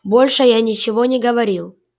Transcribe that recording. больше я ничего не говорил